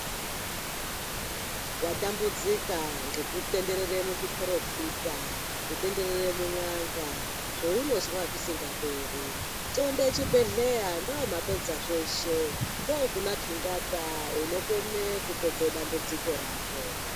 Watambudzika ngekutenderere muzviporofita kutenderere mun'anga zveunozwa zvisingaperi. Txonde chibhedhlera, ndiye mapedza zveshe, ndokuna tungata unokone kupedza dambudziko rako.